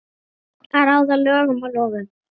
Að ráða lögum og lofum.